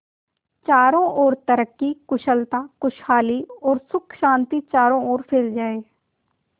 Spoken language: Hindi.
चारों और तरक्की कुशलता खुशहाली और सुख शांति चारों ओर फैल जाए